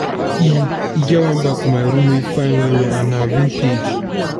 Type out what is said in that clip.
e e get wan bag for my room wey fine well well and na vintage.